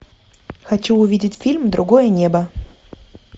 хочу увидеть фильм другое небо